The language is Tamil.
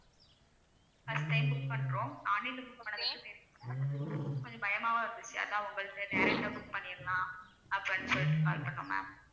first time book பண்றோம் online ல book பண்ணதுக்கு தெரியல கொஞ்சம் பயமாவும் இருந்துச்சு. அதான் உங்கள்ட்ட direct ஆ book பண்ணிடலாம். அப்படின்னு சொல்லிட்டு call பண்ணோம் ma'am